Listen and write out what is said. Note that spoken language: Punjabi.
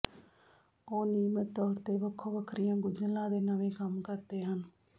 ਉਹ ਨਿਯਮਿਤ ਤੌਰ ਤੇ ਵੱਖੋ ਵੱਖਰੀਆਂ ਗੁੰਝਲਾਂ ਦੇ ਨਵੇਂ ਕੰਮ ਕਰਦੇ ਹਨ